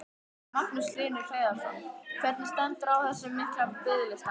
Magnús Hlynur Hreiðarsson: Hvernig stendur á þessum mikla biðlista?